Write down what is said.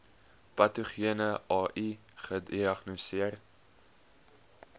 patogene ai gediagnoseer